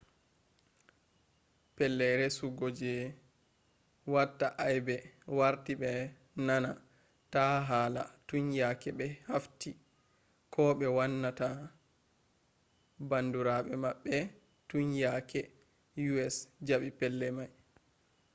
pellei resu go be watta aibe warti be nana ta hala tun yake be haffti ko be wanna ta bandurabe mabbe tun yake us jabe pellei mai